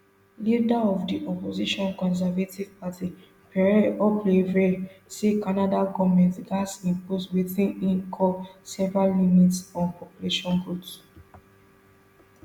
leader of di opposition conservative party pierre poilievre say canada goment gatz impose wetin im call severe limits on population growth